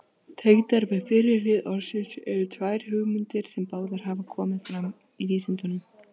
Tengdar við fyrri lið orðsins eru tvær hugmyndir, sem báðar hafa komið fram í vísindunum.